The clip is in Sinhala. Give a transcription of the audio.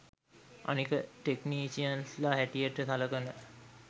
අනික ටෙක්නීෂියන්ස්ල හැටියට සලකන